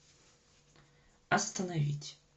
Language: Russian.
остановить